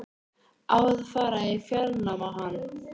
Á að fara í fjárnám á hann?